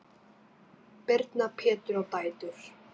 Birna, Pétur og dætur.